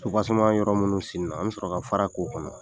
yɔrɔ minnu senna an bɛ sɔrɔ ka fara k'o kɔnɔ.